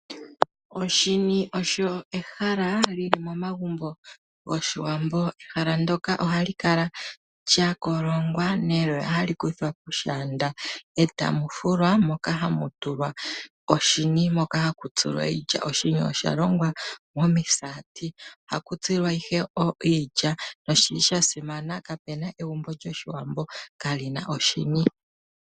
Oshini osho ehala lili momagumbo gOshiwambo. Ehala ndoka ohali lya kolongwa neloya hali kuthwa poshaanda, e ta mu fulwa moka hamu tulwa oshini, moka haku tsilwa iilya. Oshini osha longwa momisaati, ohaku tsilwa ihe iilya noshili sha simana. Kapena egumbo lyoshiwambo kali na oshini.